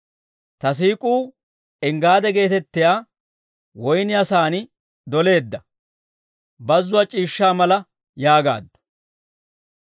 Ta siik'uu Enggaade geetettiyaa woyniyaa sa'aan doleedda, bazzuwaa c'iishshaa mala yaagaaddu.